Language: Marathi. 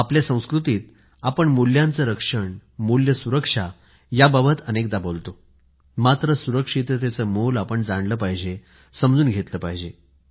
आपल्या संस्कृतीत आपण मुल्यांचे रक्षण मूल्य सुरक्षा याबाबत अनेकदा बोलतो मात्र सुरक्षिततेचे मोल आपण जाणले पाहिजे समजून घेतले पाहिजे